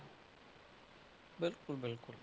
ਬਿਲਕੁਲ ਬਿਲਕੁਲ।